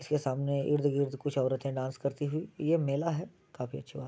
इसके सामने इर्द-गिर्द कुछ औरतें डांस करती हुई ये मेला है। काफी अच्छी बात --